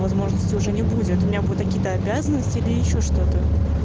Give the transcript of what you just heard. возможности уже не будет у меня будут такие-то обязанности или ещё что-то